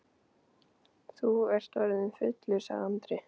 Þú ert orðinn fullur, sagði Andri.